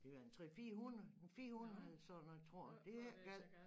Det var en 3 400 en 400 sådan noget tror jeg det er ikke gal